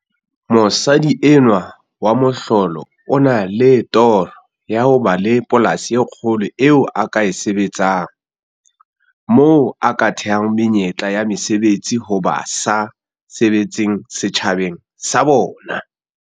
Mosadi enwa wa mohlolo o na le toro ya ho ba le polasi e kgolo eo a ka e sebetsang, moo a ka thehang menyetla ya mesebetsi ho ba sa sebetseng setjhabaneng sa bona.